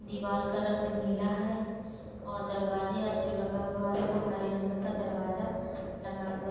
दीवार का रंग नीला है और दरवाज़ा जो लगा हुआ है हरे रंग का दरवाज़ा लगा हुआ --